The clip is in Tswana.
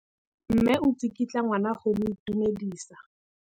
Mme o tsikitla ngwana go mo itumedisa.